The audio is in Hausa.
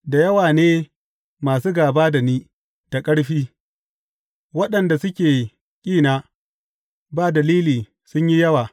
Da yawa ne masu gāba da ni da ƙarfi; waɗanda suke kina ba dalili sun yi yawa.